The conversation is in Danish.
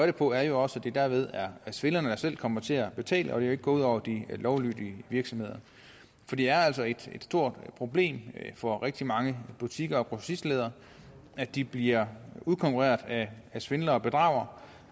det på er jo også at det derved er svindlerne der selv kommer til at betale og at det ikke går ud over de lovlydige virksomheder for det er altså et stort problem for rigtige mange butikker og grossister at de bliver udkonkurreret af svindlere og bedragere